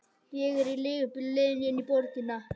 Ég er í leigubíl á leiðinni inn í borgina.